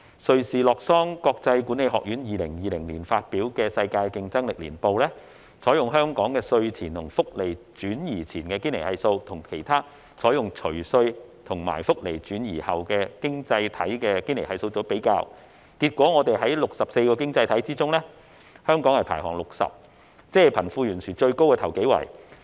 瑞士洛桑國際管理發展學院在2020年發表的《世界競爭力年報》，採用香港稅前和福利轉移前的堅尼系數，與其他經濟體採用除稅及福利轉移後的堅尼系數作比較，結果在64個經濟體系中，香港排行第六十位，即貧富懸殊最大的首幾位。